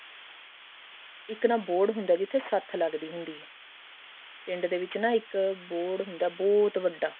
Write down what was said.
ਇੱਕ ਨਾ ਬੋਹੜ ਹੁੰਦਾ ਜਿੱਥੇ ਸੱਠ ਲੱਗਦੀ ਹੁੰਦੀ ਆ ਪਿੰਡ ਦੇ ਵਿੱਚ ਨਾ ਇੱਕ ਬੋਹੜ ਹੁੰਦਾ ਬਹੁਤ ਵੱਡਾ